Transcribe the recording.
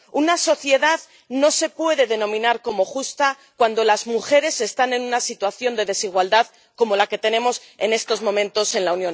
Una sociedad no se puede denominar como justa cuando las mujeres están en una situación de desigualdad como la que tenemos en estos momentos en la